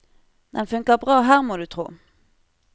Den funker bra her, må du tro.